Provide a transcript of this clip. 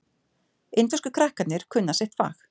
Indversku krakkarnir kunna sitt fag.